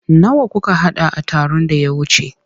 Nawa kuka haɗa a taron da ya wuce?